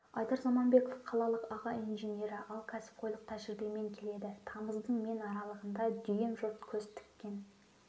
айдар заманбеков қалалық аға инженері ал кәсіпқойлық тәжірибемен келеді тамыздың мен аралығында дүйім жұрт көз тіккен